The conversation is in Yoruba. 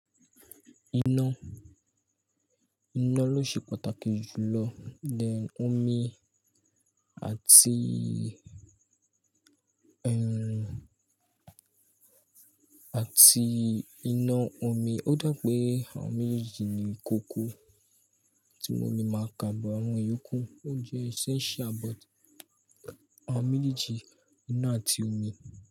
Iná, iná ló ṣe pàtàkì jù lọ. Then omi àti, ẹh, àti iná omi. Ó dà pé àwọn méjèèjì ni kòkò tí mo lè máa kà bó àwọn ìyókù. Ó jẹ́ essential but àwọn méjèèjì iná àti omi.